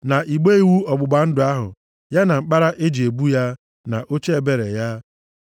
na igbe iwu ọgbụgba ndụ ahụ, ya na mkpara e ji ebu ya, na oche ebere ya,